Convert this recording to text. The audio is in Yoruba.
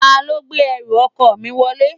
Ta ló gbé ẹrù ọkọ mi wọlé?